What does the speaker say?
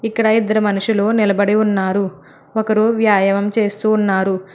ఇక్కడ ఇద్దరు మనుషులు నిలబడి ఉన్నారు ఒకరు వ్యాయామం చేస్తూ ఉన్నారు.